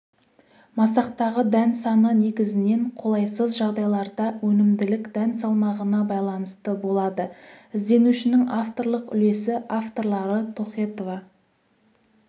масақтағы дән саны негізінен қолайсыз жағдайларда өнімділік дән салмағына байланысты болады ізденушінің авторлық үлесі авторлары тохетова